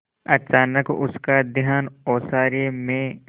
अचानक उसका ध्यान ओसारे में